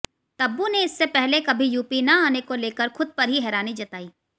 तब्बू ने इससे पहले कभी यूपी न आने को लेकर खुद पर ही हैरानी जताई